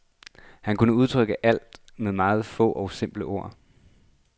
Han kunne udtrykke alt med meget få og simple ord.